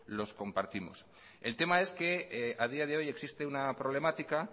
los compartimos el tema es que a día de hoy existe una problemática